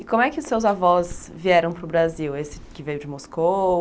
E como é que seus avós vieram para o Brasil, esse que veio de Moscou?